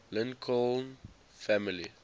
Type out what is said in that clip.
lincoln family